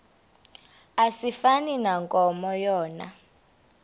asifani nankomo yona